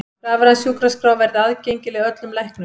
Rafræn sjúkraskrá verði aðgengileg öllum læknum